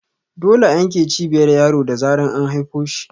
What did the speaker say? Dole a yanke Cibiyar yaro da zarar an haifo shi